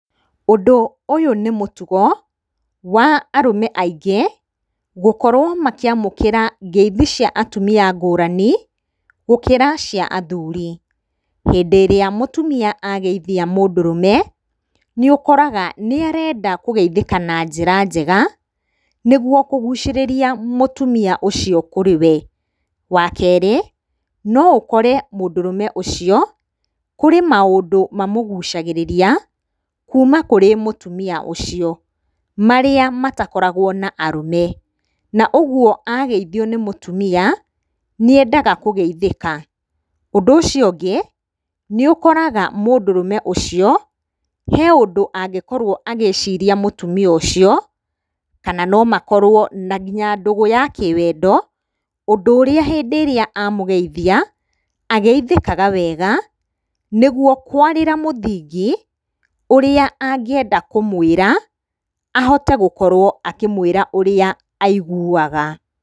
Ũndũ ũyũ nĩ mũtugo wa arũme aingĩ gũkowo makĩamũkĩra ngeithi cia atumia ngurani gũkĩra cia athuri. Hĩndĩ ĩrĩa mũtumia ageithia mũndũrũme nĩ ũkoraga nĩarenda kũgeithĩka na njĩra njega, nĩguo kũgucĩrĩria mũtumia ũcio kũrĩ we. Wa kerĩ, no ũkore mũndũrũme ũcio kũrĩ maũndũ mamũgucagĩrĩria kuma kũrĩ mũtumia ũcio marĩa matakoragwo na arũme, na ũguo ageithio nĩ mũtumia nĩendaga kũgeithĩka. Ũndũ ũcio ũngĩ, nĩũkoraga mũndũrũme ũcio he ũndũ angĩkorwo agĩciria mũtumia ũcio kana no makorwo na nginya ndũgũ ya kĩwendo, ũndũ ũrĩa hĩndĩ ĩrĩa amũgeithia ageithĩkaga wega, nĩguo kwarĩra mũthing,i ũrĩa angĩenda kũmwĩra ahote gũkorwo akĩmwĩra ũrĩa aiguaga.